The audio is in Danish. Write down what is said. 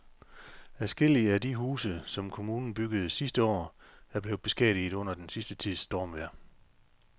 Adskillige af de huse, som kommunen byggede sidste år, er blevet beskadiget under den sidste tids stormvejr.